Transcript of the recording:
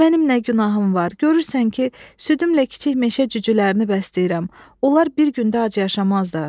Mənim nə günahım var, görürsən ki, südümlə kiçik meşə cücülərini bəsləyirəm, onlar bir gündə ac yaşamazlar.